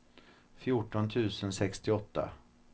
fjorton tusen sextioåtta